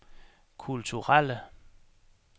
kulturelle